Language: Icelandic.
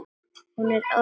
Hún er ormur.